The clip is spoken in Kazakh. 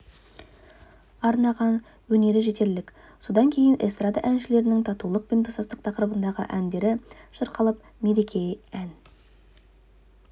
арнаған өнері жетерлік содан кейін эстрада әншілерінің татулық пен достық тақырыбындағы әндері шырқалып мереке ән